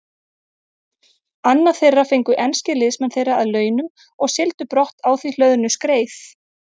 Annað þeirra fengu enskir liðsmenn þeirra að launum og sigldu brott á því hlöðnu skreið.